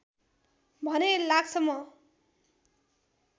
भने लाग्छ म